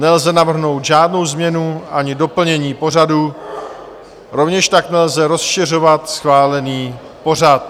Nelze navrhnout žádnou změnu ani doplnění pořadu, rovněž tak nelze rozšiřovat schválený pořad.